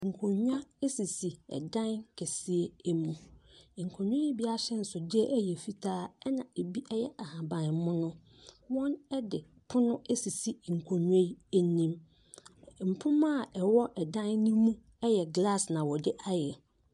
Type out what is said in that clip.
Nkonnwa sisi dan kɛseɛ mu. Nkonnwa yi bi ahyɛnsodeɛ yɛ fitaa, ɛnna ebi yɛ ahaban mono. Wɔde pono asisi nkonnwa yi anim. Mpoma a ɛwɔ dan no mu yɛ glass na wɔde ayɛ.